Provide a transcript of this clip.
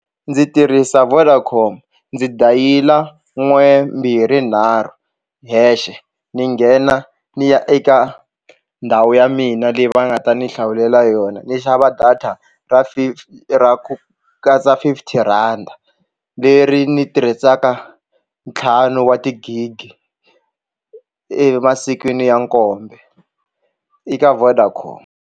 Ndzi tirhisa Vodacom ndzi dayila n'we mbirhi nharhu hexe ni nghena ni ya eka ndhawu ya mina leyi va nga ta ni hlawulela yona ndzi xava data ra ra ku katsa fifty rand leri ni tirhisaka ntlhanu wa tigigi emasikwini ya nkombe eka Vodacom.